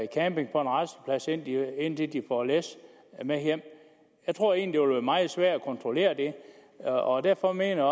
camperer på en rasteplads indtil indtil de får læs med hjem jeg tror egentlig at være meget svært at kontrollere det og og derfor mener